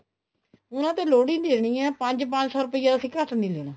ਉਹਨਾ ਤੋਂ ਲੋਹੜੀ ਲੈਣੀ ਹੈ ਪੰਜ ਪੰਜ ਸੋ ਰੁਪਿਆ ਅਸੀਂ ਘੱਟ ਨੀ ਲੈਣਾ